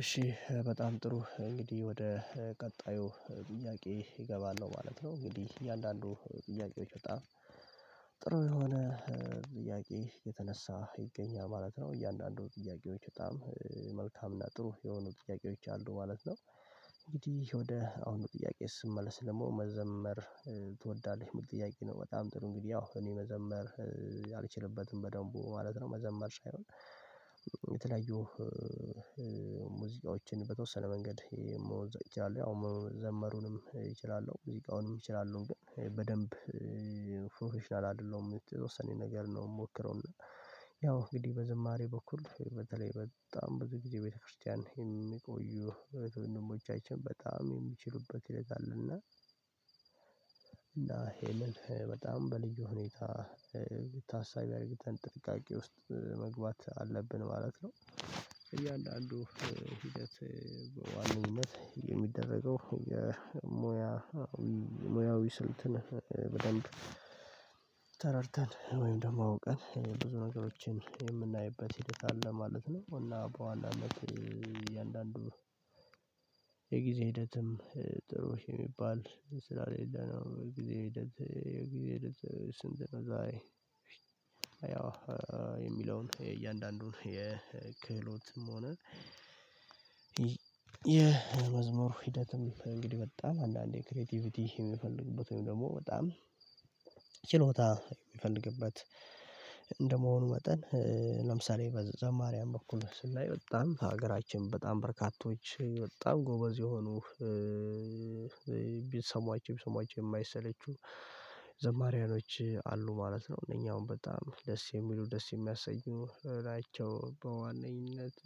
እሺ በጣም ጥሩ። እንግዲህ ወደ ቀጣዩ ጥያቄ እገባለሁ ማለት ነው። እንግዲህ እያንዳንዱ ጥያቄዎች በጣም ጥሩ የሆነ ጥያቄ እየተነሳ ይገኛል ማለት ነው እያንዳንዱ ጥያቄዎች በጣም መልካም እና ጥሩ የሆኑ ጥያቄዎች አሉ ማለት ነው። ወደ አሁን ጥያቄ ስመለስ ደግሞ መዘመር ትወዳለህ? የሚል ጥያቄ ነው። በጣም ጥሩ እንግዲህ ያው እኔ መዘመር አልችልበትም በደንቡ ማለት ነው። መዘመር ሳይሆን የተለያዩ ሙዚቃዎችን በተወሰነ መንገድ መሞዘቅ እችላለሁ። ያው ዘመሩንም እችላለሁ ሙዚቃውንም እችላለሁ ግን በደንብ ፕሮፌሽናል አይደለሁም። የተወሰነኝ ነገር ነው የምሞክረው። እና ያው እንግዲህ በዝማሬ በኩል በተለይ በጣም ብዙ ጊዜ ቤተክርስቲያን የሚቆዩ እህት ወንድሞቻችን በጣም የሚችሉበት ሂደት አለ። እና እና ይሄንን በጣም በልዩ ሁኔታ ታሳቢ አርግተን ጥንቃቄ ውስጥ መግባት አለብን ማለት ነው። እያንዳንዱ ሂደት በዋነኝነት የሚደረገው የሙያ ሙያዊ ስልትን በደንብ ተረድተን ወይም ደግሞ አውቀን ብዙ ነገሮችን የምናይበት ሂደት አለ ማለት ነው። እና በዋናነት እያንዳንዱ የጊዜ ሂደትም ጥሩ የሚባል ስላሌለ ነው የጊዜ ሂደት የጊዜ ሂደት ስንት ነው ዛሬ ያው የሚለውን የእያንዳንዱን የክህሎትም ሆነ የመዝሙር ሂደት እንግዲህ በጣም አንዳንዴ ክሬቲቪቲ የሚፈልግበት ወይም ደግሞ በጣም ችሎታ የሚፈልግበት እንደመሆኑ መጠን ለምሳሌ በዘማርያን በኩል ስናይ በጣም ሀገራችን በጣም በርካቶች በጣም ጎበዝ የሆኑ ቢሰሟቸው ቢሰሟቸው የማይሰለቹ ዘማሪያኖች አሉ ማለት ነው። እነኚህ አሁን በጣም ደስ የሚሉ ደስ የሚያሰኙ ናቸው በዋነኝነት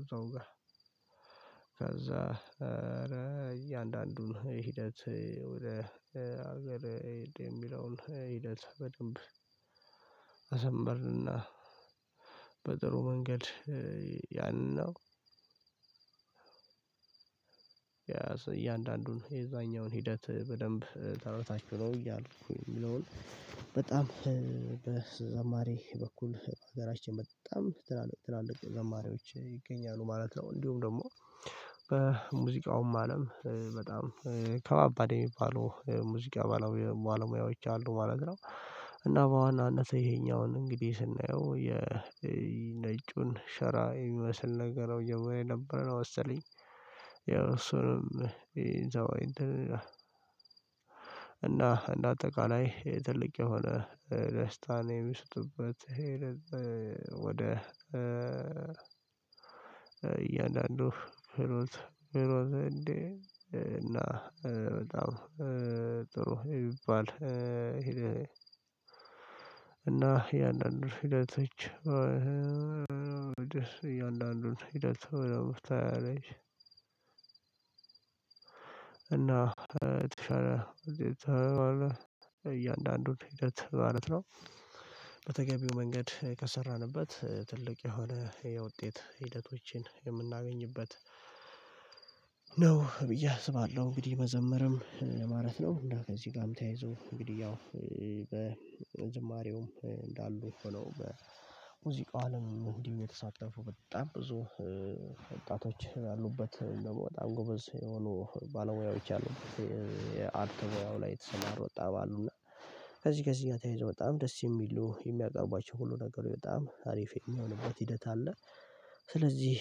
እዛው ጋር ከዛ እያንዳንዱን ሂደት ወደ ሀገር የሚለውን ሂደት በደንብ አስንበርንና በጥሩ መንገድ ያንን ነው እያንዳንዱን የዛኛውን ሂደት በደንብ ተረድታቹ ነው እያልኩ የሚለውን በጣም በዘማሪ በኩል ሀገራችን በጣም ትላልቅ የዘማሪዎች ይገኛሉ ማለት ነው። እንዲሁም ደግሞ በሙዚቃውም አለም በጣም ከባባድ የሚባሉ ሙዚቃ ባለሙያዎች አሉ ማለት ነው። እና በዋናነት ይሄኛውን እንግዲህ ስናየው የነጩን ሸራ የሚመስል ነገር ነው የምለው ነበር ነው ወሰለኝ ያው እሱንም እና እንደ አጠቃላይ ትልቅ የሆነ ደስታን የሚሰጡበት ወደ እያንዳንዱ ህሮት ህሮት እንዴ እና በጣም ጥሩ የሚባል እና የአንዳንድ ሂደቶች እጅ የአንዳንድ ሁለት አለች እና የተሻለ እዚህ ተባለ እያንዳንዱን ሂደት ማለት ነው። በተገቢው መንገድ ከሰራንበት ትልቅ የሆነ የውጤት ሂደቶችን የምናገኝበት ነው ብዬ አስባለሁ። እንግዲህ መዘምርም ማለት ነው። እና ከዚህ ጋርም ተያይዞ እንግዲህ ያው በዝማሬውም እንዳሉ ሆኖ በሙዚቃው አለም እንዲሁም የተሳተፉ በጣም ብዙ ወጣቶች ያሉበት በጣም ጎበዝ የሆኑ ባለሙያዎች አሉ የአርት ሙያው ላይ የተሰማሩ በጣም አሉ እና ከዚህ ከዚህ ግ ተያይዞ በጣም ደስ የሚሉ የሚያቀርቧቸው ሁሉ ነገሮች በጣም አሪፍ የሚሆንባት ሂደት አለ። ስለዚህ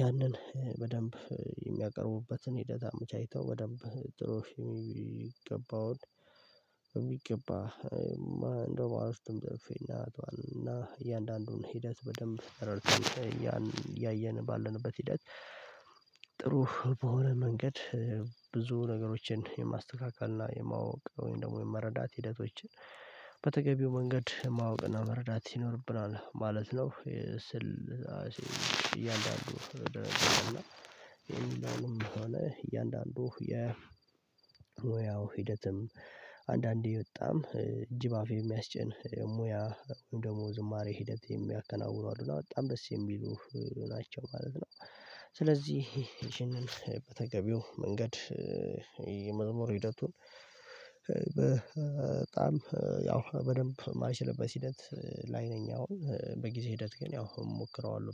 ያንን በደንብ የሚያቀርቡበትን ሂደት አመቻችተው በደንብ ጥሩ የሚገባውን የሚገባ እንደው ባሮ ውስጥም ጽፌና እና እያንዳንዱን ሂደት በደንብ ተረድተን እያየን ባለንበት ሂደት ጥሩ በሆነ መንገድ ብዙ ነገሮችን የማስተካከል እና የማወቅ ወይም ደግሞ የመረዳት ሂደቶችን መንገድ ማወቅና መረዳት ይኖርብናል ማለት ነው። ስል እያንዳንዱ እያንዳንዱ የሙያው ሂደትም አንዳንዴ በጣም እጅ በአፍ የሚያስጭን የሙያ ደግሞ ዝማሬ ሂደት የሚያከናውኑ አሉ። እና በጣም ደስ የሚሉ ናቸው ማለት ነው። ስለዚህ ይሄንን በተገቢው መንገድ የመዝሙር ሂደቱን በጣም ያው በደንብ ማልችልበት ሂደት ላይ ነኝ አሁን። በጊዜ ሂደት ግን ያው እሞክረዋለሁ